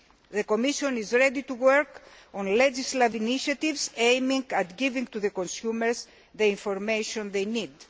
The Commission is ready to work on legislative initiatives aiming at giving consumers the information they need.